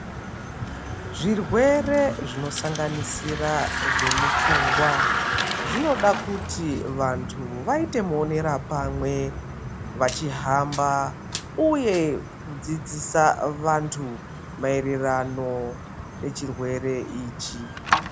Zvirwere zvinosanganisira zvemupfungwa zvinoda kuti vantu vaite muonerapamwe vachihamba uye kudzidzisa vantu maererano nechirwere ichi.